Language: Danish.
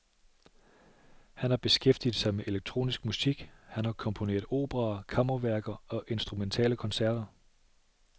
Han har beskæftiget sig med elektronisk musik, han har komponeret operaer, kammerværker og instrumentale koncerter.